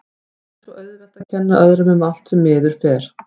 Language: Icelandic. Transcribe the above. Það er svo auðvelt að kenna öðrum um allt sem miður fer.